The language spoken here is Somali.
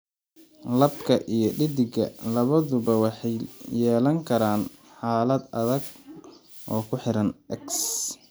Labka iyo dheddigga labaduba waxay yeelan karaan xaalad adag oo ku xiran X.